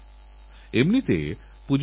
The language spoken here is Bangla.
ভারতেরএক শুভ সূচনা হোক